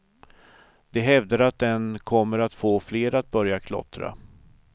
De hävdar att den kommer att få fler att börja klottra.